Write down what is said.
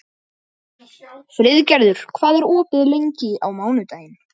Friðgerður, hvað er opið lengi á mánudaginn?